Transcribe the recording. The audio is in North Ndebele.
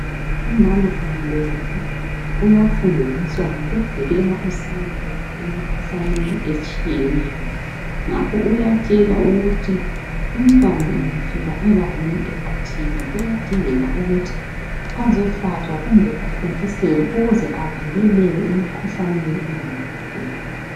Umama angabeletha uyafundiswa ngokuvikela usane lwakhe emikhuhlaneni etshiyeneyo. Ngakho uyatshelwa ukuthi umntwana angafika ebangeni elithile uyadingeka ukuthi azohlatshwa kumbe athontiselwe ukuze avikeleke emikhuhlaneni engamhlasela.